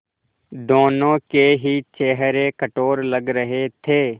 दोनों के ही चेहरे कठोर लग रहे थे